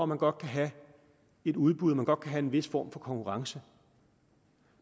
man godt kan have et udbud at man godt kan have en vis form for konkurrence